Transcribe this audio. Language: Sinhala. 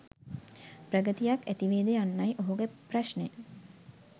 ප්‍රගතියක් ඇතිවේද යන්නයි ඔහුගේ ප්‍රශ්නය